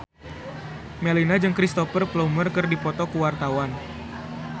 Melinda jeung Cristhoper Plumer keur dipoto ku wartawan